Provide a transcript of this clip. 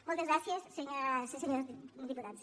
moltes gràcies senyores i senyors diputats